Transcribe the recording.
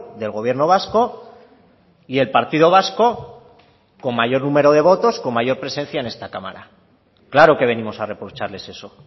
del gobierno vasco y el partido vasco con mayor número de votos con mayor presencia en esta cámara claro que venimos a reprocharles eso